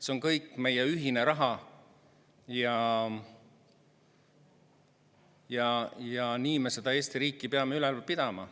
See on meie kõigi ühine raha ja nii me seda Eesti riiki peame üleval pidama.